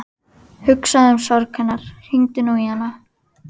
Hugsaðu um sorg hennar, hringdu nú í hana.